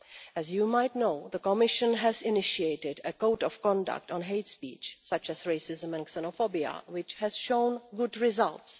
As you might know, the Commission has initiated a code of conduct on hate speech such as racism and xenophobia, which has shown good results.